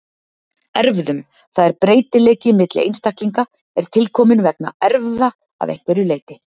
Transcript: Erfðum, það er breytileiki milli einstaklinga er tilkominn vegna erfða að einhverju leyti.